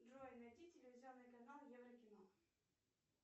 джой найди телевизионный канал еврокино